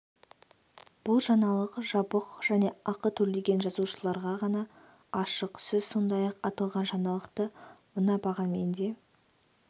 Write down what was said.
бұл жаңалық жабық және ақы төлеген жазылушыларға ғана ашық сіз сондай-ақ аталған жаңалықты мына бағамен де